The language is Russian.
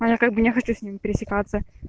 а я как бы не хочу с ним пересекаться